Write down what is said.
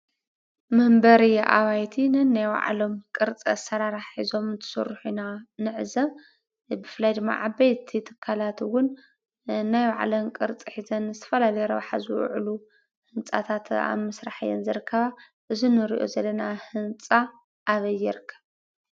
መንበሪ ኣባይቲ ነናይ ባዕሎም ቅርፂ ኣሰራርሓ ሒዞም እንትስርሑ ኢና ንዕዘብ ። ብፍላይ ድማ ዓበይቲ ትካላት እዉን ናይ ባዕለን ቅርፂ ሒዘን ዝተፈላለዩ ረብሓ ዝውዕሉ ህንፃታት ኣብ ምስራሕ እየን ዝርከባ እዚ ንሪኦ ዘለና ህንፃ ኣበይ ይርከብ?